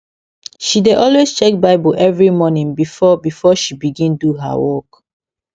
she dey always check bible every morning before before she begin do her work